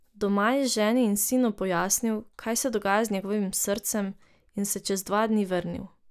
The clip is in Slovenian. Doma je ženi in sinu pojasnil, kaj se dogaja z njegovim srcem, in se čez dva dni vrnil.